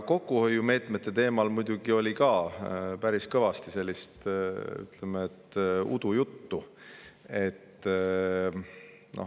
Kokkuhoiumeetmete teemal räägiti siin muidugi ka päris kõvasti mingit udujuttu.